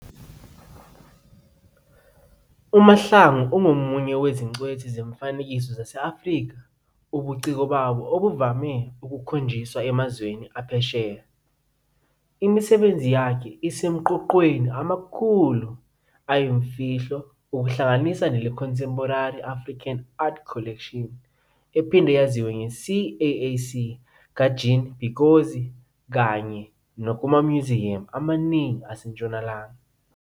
UMahlangu ungomunye wezingcweti zemifanekiso zase-Afrika ubuciko babo obuvame ukukhonjiswa emazweni aphesheya. Imisebenzi yakhe isemaqoqweni amakhulu ayimfihlo okuhlanganisa nele-Contemporary African Art Collection, CAAC, kaJean Pigozzi kanye nakumamnyuziyamu amaningi aseNtshonalanga.